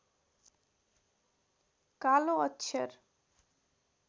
कालो अक्षर